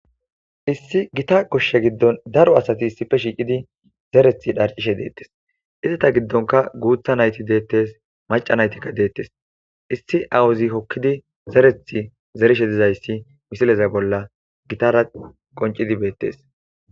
Ossi gita gosha gidon daro asati issippe shiqidi zereta dharcishe detes ezata gidon qeri nayti detes maca naytika detes issi awaza hokidi zereti zerishe dizaysi misile bolla betes